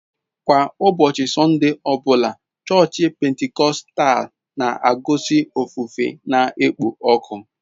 Kwa ụbọchị Sọnde ọ bụla, chọọchị Pentikọstal na-ekusi ofufe na-ekpo ọkụ.